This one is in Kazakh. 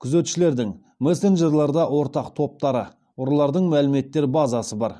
күзетшілердің мессенджерларда ортақ топтары ұрылардың мәліметтер базасы бар